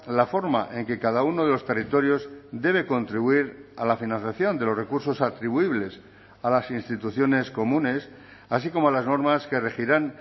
la forma en que cada uno de los territorios debe contribuir a la financiación de los recursos atribuibles a las instituciones comunes así como las normas que regirán